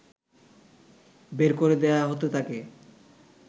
বের করে দেয়া হতে থাকে